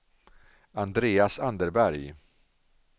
Andreas Anderberg